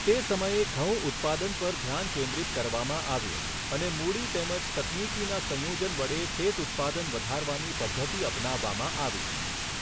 તે સમયે ઘઉં ઉત્પાદન પર ધ્યાન કેન્દ્રિત કરવામાં આવ્યું અને મૂડી તેમજ તકનિકીના સંયોજન વડે ખેતઉત્પાદન વધારવાની પધ્ધતિ અપનાવવામાં આવી.